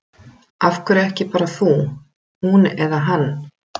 Af hverju ekki bara þú, hún eða hann?